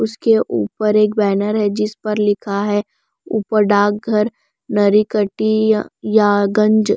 उसके ऊपर एक बैनर है जिस पर लिखा है ऊपर डार्क घर नरी कटी य यागंज --